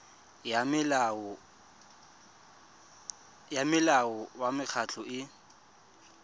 ya molao wa mekgatlho e